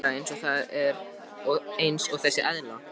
Mér finnst ég vera eins og þessi eðla.